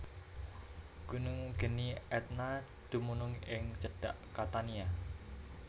Gunung geni Etna dumunung ing cedhak Catania